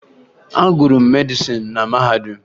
Agụrụ m medịsịn na mahadum